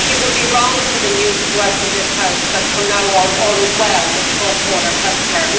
I think it would be wrong for the news to go out from this House that, from now on, all is well with cross border healthcare.